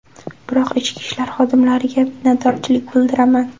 Biroq ichki ishlar xodimlariga minnatdorchilik bildiraman.